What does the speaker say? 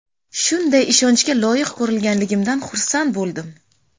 Shunday ishonchga loyiq ko‘rilganimdan xursand bo‘ldim.